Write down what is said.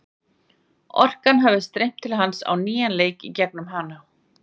Orkan hafi streymt til hans á nýjan leik í gegnum hana.